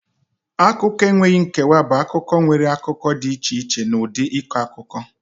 Akụkọ enweghị nkewa bụ akụkọ nwere akụkọ dị iche iche na ụdị ịkọ akụkọ.